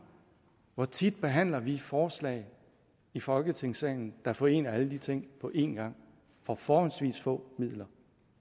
hvor tit behandler vi forslag i folketingssalen der forener alle de ting på en gang for forholdsvis få midler